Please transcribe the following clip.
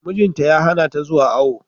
Mijin ta ya hana ta zuwa awo.